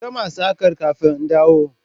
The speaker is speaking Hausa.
Ki gama saƙar kafin in dawo!